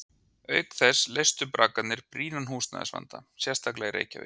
Auk þess leystu braggarnir brýnan húsnæðisvanda, sérstaklega í Reykjavík.